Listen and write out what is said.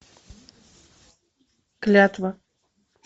клятва